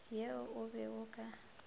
ye o be o ka